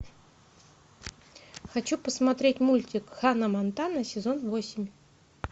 хочу посмотреть мультик ханна монтана сезон восемь